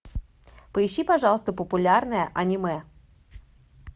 поищи пожалуйста популярное анимэ